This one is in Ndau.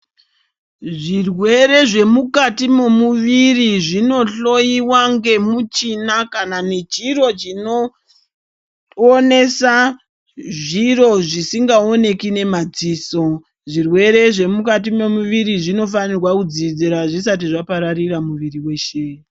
Zvirwere zvemukati memuviri zvinohloyiwa ngemuchina kana nechiro chinoonesa zviro zvisingaoneki nemadziso zvirwere zvemukati memuviri zvinofanirwa kudzivirirwa zvisati zvapararira muviri weshe.